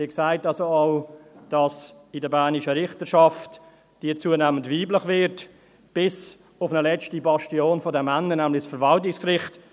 Sie sehen also auch, dass die bernische Richterschaft zunehmend weiblich wird, bis auf eine letzte Bastion der Männer, nämlich das Verwaltungsgericht.